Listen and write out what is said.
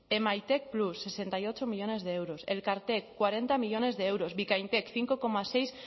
emaitek plus sesenta y ocho millónes de euros elkartek cuarenta millónes de euros bikaintek cinco coma seis